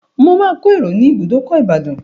Mo máa ko ẹ̀rò ní ibùdókò Ìbàdàn.